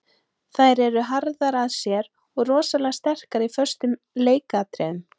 Þær eru harðar af sér og rosalega sterkar í föstum leikatriðum.